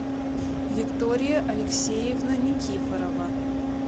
виктория алексеевна никифорова